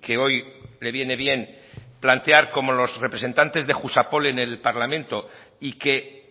que hoy le viene bien plantear como los representantes de jusapol en el parlamento y que